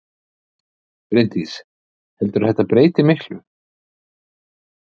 Bryndís: Heldurðu að þetta breyti miklu?